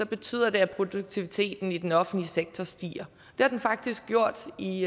betyder det at produktiviteten i den offentlige sektor stiger det har den faktisk gjort i